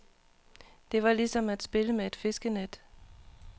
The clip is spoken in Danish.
Det var lige som at spille med et fiskenet.